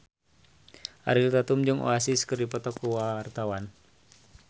Ariel Tatum jeung Oasis keur dipoto ku wartawan